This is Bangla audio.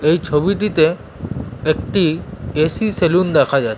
এই ছবিটিতে একটি এ.সি. সেলুন দেখা যাচ্ছ--